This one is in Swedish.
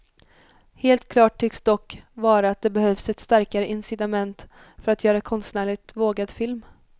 Helt klart tycks dock vara att det behövs ett starkare incitament för att göra konstnärligt vågad film.